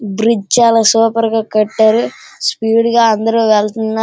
Bridge చాలా super గా కట్టారు. స్పీడ్ గా అందరూ వెళ్తున్న --